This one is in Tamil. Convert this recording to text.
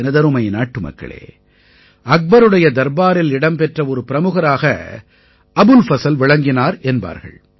எனதருமை நாட்டுமக்களே அக்பருடைய தர்பாரில் இடம்பெற்ற ஒரு பிரமுகராக அபுல் ஃபஸல் விளங்கினார் என்பார்கள்